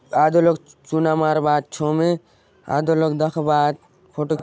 आधो लोग चुना मारबा आत छो मे आधो लोग दखबाआत फोटो --